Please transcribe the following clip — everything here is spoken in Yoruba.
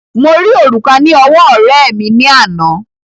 Mo rí òrùka ní ọwọ́ ọ̀rẹ́ẹ̀ mi ní àná.